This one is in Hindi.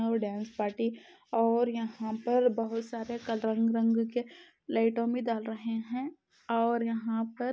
और यह पर डांस पार्टी और यहाँ पर बोहोत सारे रंग के लाइटो भी डाल रहे हैं और यहाँ पर --